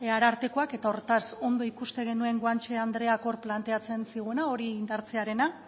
arartekoak eta hortaz ondo ikusten genuen guanche andreak hor planteatzen ziguna hori indartzearena